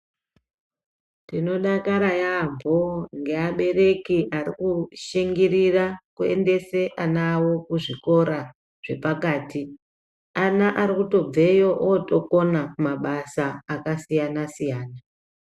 Tinodakara yaambo ngeabereki arikushingirira kuendese ana avo kuzvikora zvepakati. Ana arikutobveyo ootokana mabasa akasiyana-siyana.